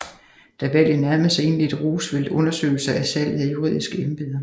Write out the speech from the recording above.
Da valget nærmede sig indledte Roosevelt undersøgelser af salget af juridiske embeder